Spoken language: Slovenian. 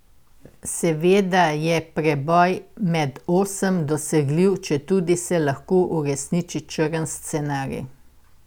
Seveda je preboj med osem dosegljiv, četudi se lahko uresniči črn scenarij.